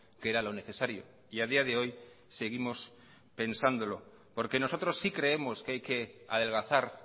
que era lo necesario y a día de hoy seguimos pensándolo porque nosotros si creemos que hay que adelgazar